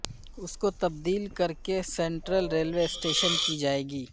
اس کو تبدیل کر کے سینٹرل ریلوے اسٹیشن کی جائے گی